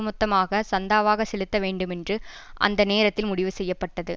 மொத்தமாக சந்தாவாக செலுத்த வேண்டுமென்று அந்த நேரத்தில் முடிவு செய்ய பட்டது